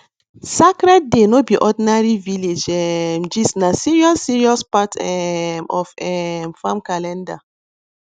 sacred day no be ordinary village um gistna serious serious part um of um farm calendar